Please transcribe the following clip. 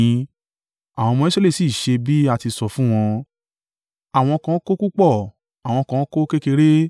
Àwọn ọmọ Israẹli sì ṣe bí a ti sọ fún wọn; àwọn kan kó púpọ̀, àwọn kan kó kékeré.